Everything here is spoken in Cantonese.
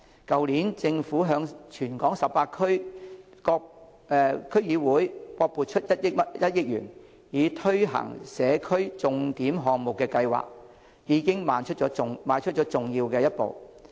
去年政府向全港18區區議會各撥款1億元，以推行社區重點項目的計劃，已邁出了重要一步。